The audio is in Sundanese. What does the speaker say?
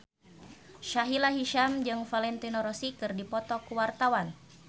Sahila Hisyam jeung Valentino Rossi keur dipoto ku wartawan